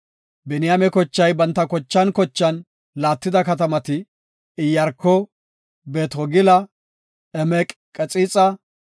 Biniyaame kochay banta kochan kocha laattida katamati, Iyaarko, Beet-Hogila, Emeq-Qaxixa,